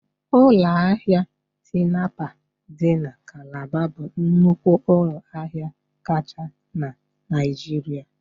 Ụlọ ahịa Tinapa dị na Calabar bụ nnukwu ụlọ ahịa kacha na Naịjirịa